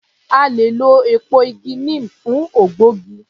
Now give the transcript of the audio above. A le è lọ èpo igi neem fún ògbógi